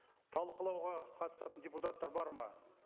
талқылауға қатысатын депутаттар бар ма